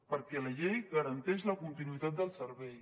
perquè la llei garanteix la continuïtat del servei